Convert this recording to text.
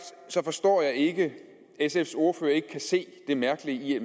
forstår jeg ikke at sfs ordfører ikke kan se det mærkelige i at